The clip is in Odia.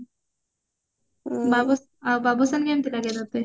ଆଉ ବାବୁସାନ୍ କେମତି ଲାଗେ ତତେ